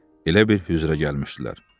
Elə bil hüzrə gəlmişdilər.